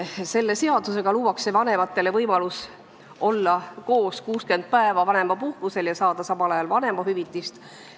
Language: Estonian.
Selle seadusega luuakse vanematele võimalus olla koos 60 päeva vanemapuhkusel ja saada samal ajal vanemahüvitist.